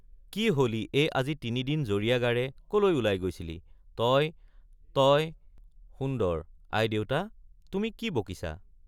কি হলি এই আজি তিনি দিন জ্বৰীয়া গাৰে কলৈ ওলাই গৈছিলি—তই—তই— সুন্দৰ—আইদেউতা—তুমি কি বকিছা?